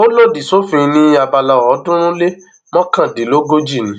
ò lòdì sófin ní abala ọọdúnrún lé mọkàndínlógójì ni